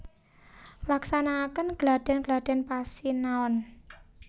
Nglaksanakaken gladhen gladhen pasinaon